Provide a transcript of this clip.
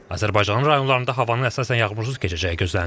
Azərbaycanın rayonlarında havanın əsasən yağmursuz keçəcəyi gözlənilir.